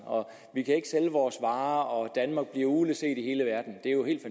vi kan ikke sælge vores varer og danmark bliver ugleset i hele verden det er jo helt